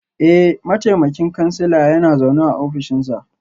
Eh, mataimakin kansila yana zaune a ofishinsa